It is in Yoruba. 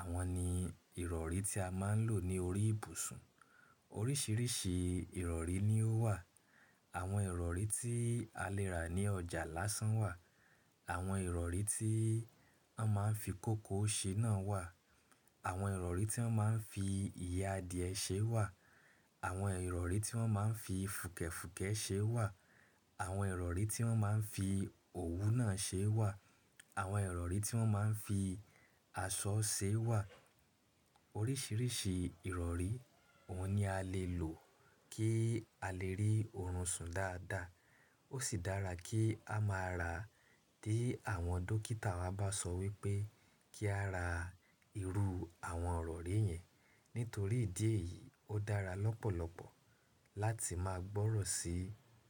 àwọn ni ìrọ̀rí tí a má ń lò ní orí ìbùsùn. Oríṣìíríṣìí ìrọ̀rí ni ó wà. Àwọn ìrọ̀rí tí a lè rà ní ọjà lásán wà. Àwọn ìrọ̀rí tí wọ́n má ń fi kòkó ṣe náà wà. Àwọn ìrọ̀rí tí wọ́n má ń fi ìyẹ́ adìẹ ṣe wà. Àwọn ìrọ̀rí tí wọ́n má ń fi fùkẹ̀fùkẹ̀ ṣe wà. Àwọn ìrọ̀rí tí wọ́n má ń fi òwú náà ṣe wà. Àwọn ìrọ̀rí tí wọ́n má ń fi aṣọ ṣe wà. Oríṣìíríṣìí ìrọ̀rí, òun ni a lè lò kí a lè rí oorun sùn dáadáa. Ó sì dára kí a máa ra tí àwọn dókítà wa bá sọ wípé kí a ra irú àwọn ìrọ̀rí yẹn. Nítorí ìdí èyí ó dára lọ́pọ̀lọpọ̀ láti máa gbọ́rọ̀ sí.